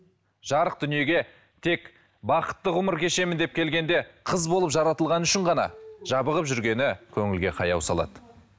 жарық дүниеге тек бақытты ғұмыр кешемін деп келгенде қыз болып жаратылғаны үшін ғана жабығып жүргені көңілге қаяу салады